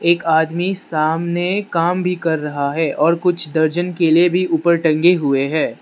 एक आदमी सामने काम भी कर रहा है और कुछ दर्जन केले भी ऊपर टंगे हुए हैं।